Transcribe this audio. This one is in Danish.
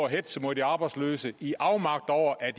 at hetze mod de arbejdsløse i afmagt over at